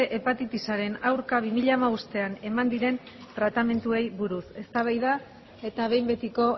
hepatitisaren aurka bi mila hamabostean eman diren tratamenduei buruz eztabaida eta behin betiko